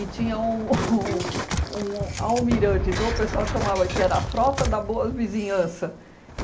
E tinha um um um almirante, então o pessoal chamava que era a frota da boa vizinhança.